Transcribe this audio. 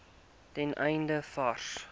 ten einde vars